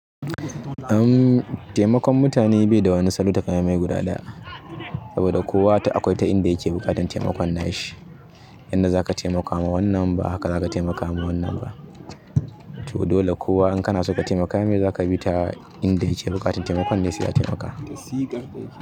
Uhm taimakon mutane bai da wani salo takamaimai guda ɗaya. Saboda kowa akwai ta inda yake buƙatan taimakon na shi. Yanda zaka taimakama wannan ba haka zaka taimakama wannan ba. To dole kowa in kana so ka taimaka me zaka bi ta inda yake buƙatan taimakon ne sai a taimaka.